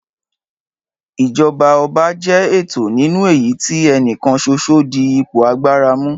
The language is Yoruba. Ìjọba ọba jẹ́ ètò nínú èyí tí ẹni kan ṣoṣo dí ipò agbára mú.